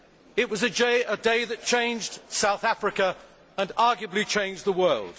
It was a day that changed South Africa and, arguably, changed the world.